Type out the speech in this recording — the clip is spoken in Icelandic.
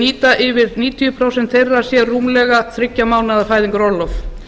nýta yfir níutíu prósent þeirra sér rúmlega þriggja mánaða fæðingarorlof